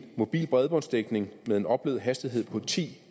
mobil bredbåndsdækning med en oplevet hastighed på ti